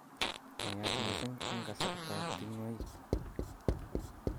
Naiyat mising' eng' kasartab ting'woik